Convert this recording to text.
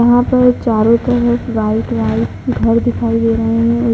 यहाँ पर चारों तरफ व्हाइट व्हाइट घर दिखाई दे रहे हैं।